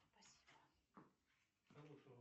имя никакой роли не играет